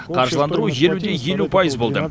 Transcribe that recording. қаржыландыру елу де елу пайыз болды